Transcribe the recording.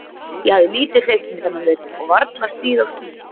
Ég hafði lítið hreyft mig þennan vetur og varla stigið á skíði.